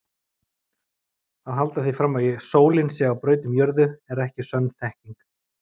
Að halda því fram að sólin sé á braut um jörðu er ekki sönn þekking.